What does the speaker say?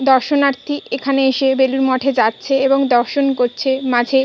দর্শনার্থী এখানে এসে বেলুড় মঠে যাচ্ছে এবং দর্শন করছে মাঝে।